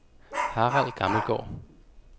Harald Gammelgaard